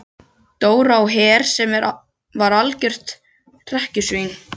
Dóra á Her sem var algjört hrekkjusvín.